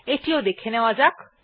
এটিও দেখে নেওয়া যাক